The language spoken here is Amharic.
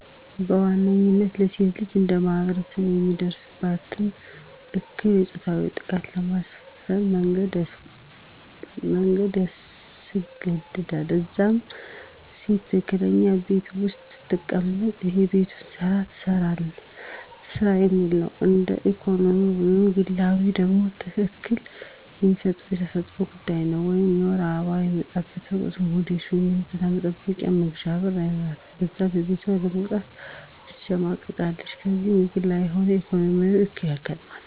በዋነኝነታ ለሴት ልጅ እንደማህበረሰብ የሚደርስባት እክል የፆታዊ ጥቃት በማትፈልገው መንገድ ማስገድ፣ ከዛም ሴት አትችልም ቤት ውስጥ ትቀመጥ የቤቱን ስራ ትስራ የሚል ነው። እንደ ኢኮኖሚያዊ ወይም ግላዊ ደግሞ እክል የሚሆንባት የተፈጥሮ ጉዳይ ነው ወይም የወር አበባዋ በሚመጣበት ወቅት ሞዴስ ወይም የንፅህና መጠበቂያ መግዣ ብር አይኖራትም ከዛም ከቤቷ ለመውጣት ትሸማቀቃለች። ስለዚህ በግላዊ ሆነ በኢኮኖሚ እክል አጋጠማት።